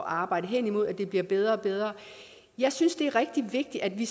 arbejde hen imod at det bliver bedre og bedre jeg synes det er rigtig vigtigt at vi